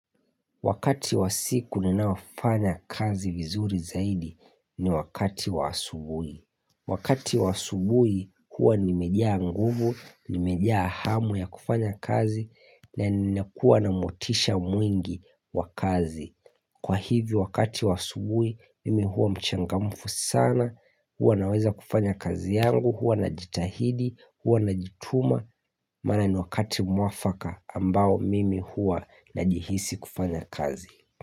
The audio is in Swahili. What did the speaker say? Wakati wa siku ninaofanya kazi vizuri zaidi ni wakati wa asubui. Wakati wa asubui huwa nimeja nguvu, nimeja hamu ya kufanya kazi na nina kuwa na motisha mwingi wa kazi. Kwa hivi wakati wa asubui mimi huwa mchangamufu sana, huwa naweza kufanya kazi yangu, huwa na jitahidi, huwa na jituma. Maana ni wakati mwafaka ambao mimi hua na jihisi kufanya kazi.